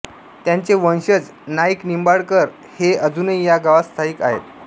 त्यांचे वंशज नाईकनिंबाळकर हे अजूनही या गावात स्थायीक आहेत